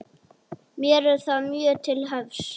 Mér er það mjög til efs